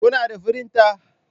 Kuna da firinta?